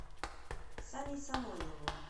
саней самойловым